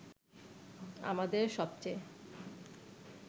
আমাদের সবচে